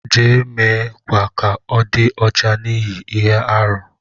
Je, me kwa ka ọ di ọcha n'ihi ihe-árú ahu.